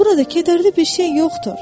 Burada kədərli bir şey yoxdur.